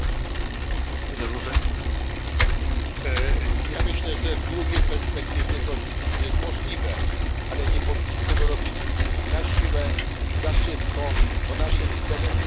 Myślę, że w długiej perspektywie jest to oczywiście możliwe, ale nie powinniśmy tego robić na siłę, za szybko, bo naszym celem jest eliminowanie emisji, a nie konkretnego paliwa.